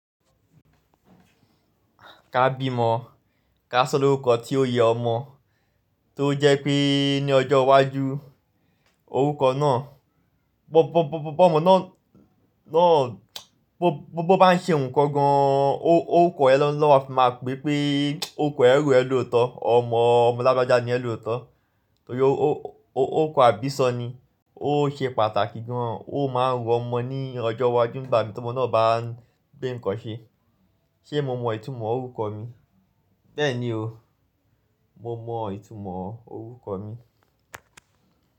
Ká bí mọ, ká sọ lórúkọ tí ó yẹ ọmọ, tó jẹ́ pé ní ọjọ́ iwájú orúkọ náà, bọ, bọ, bọ, bọ ọmọ náà, náà, bó bá ń ṣe nǹkan gan, ó, ó kọ ẹ́ lọ́nà tí màá pè pé orúkọ ẹ rò ẹ lóòótọ́, ọmọ, ọmọ labọjá ni ẹ lóòótọ́. Torí ó, ó, ó kọ àbíṣọ́ ni, ó ṣe pàtàkì gan, ó máa ń ro ọmọ ní ọjọ́ iwájú ìgbà mi tí ọmọ náà bá ń gbé nǹkan ṣe. Ṣé mo mọ ìtumọ̀ orúkọ mi? Bẹ́ẹ̀ ni o, mo mọ ìtumọ̀ orúkọ mi.